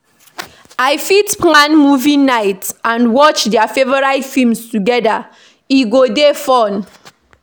I fit plan movie night and watch dia favorite films together, e go dey fun.